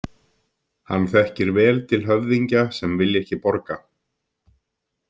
Hann þekkir vel til höfðingja sem vilja ekki borga.